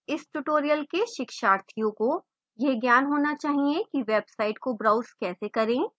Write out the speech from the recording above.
इस tutorial के शिक्षार्थियों को यह ज्ञान होना चाहिए कि website को browse कैसे करें